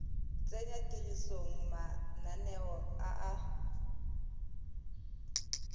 tsenya tirisong mananeo a a